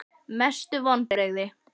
Mestu vonbrigði?????